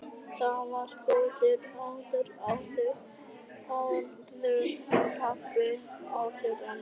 Það var á góðu árunum- áður en pabbi- áður en.